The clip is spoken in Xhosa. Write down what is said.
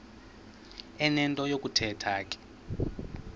enento yokuthetha ke